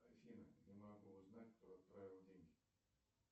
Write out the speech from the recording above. афина не могу узнать кто отправил деньги